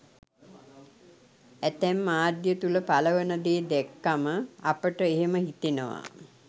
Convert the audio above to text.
ඇතැම් මාධ්‍ය තුළ පළවන දේ දැක්කම අපට එහෙම හිතෙනවා.